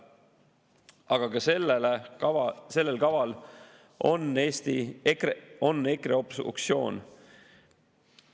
Aga ka sellel kaval on EKRE obstruktsioon.